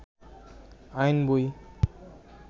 আইন বই